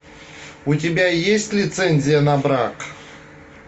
у тебя есть лицензия на брак